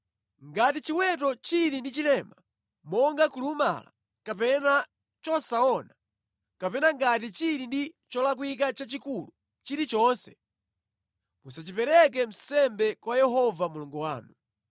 Ngati chiweto chili ndi chilema monga kulumala kapena chosaona, kapena ngati chili ndi cholakwika chachikulu chilichonse, musachipereke nsembe kwa Yehova Mulungu wanu.